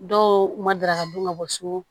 Dɔw ma dara ka dun ka bɔ so